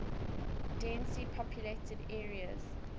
densely populated areas